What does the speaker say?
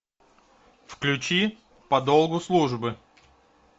включи по долгу службы